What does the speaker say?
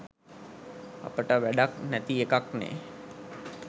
අපිට වැඩක් නැතිඑකක්නේ